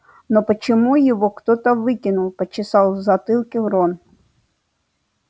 но почему его кто-то выкинул почесал в затылке рон